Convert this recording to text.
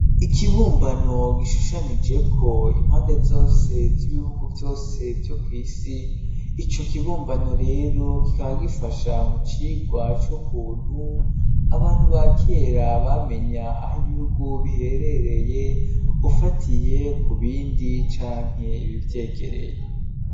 Ikibumbano gishushanijeko impande zose z'ibihugu vyose vyo kw'isi ico kibumbano rero kikaba gifasha mu cigwa c'ukuntu abantu ba kera bamenya aho ibihugu biherereye ufatiye ku bindi canke ibivyegereye.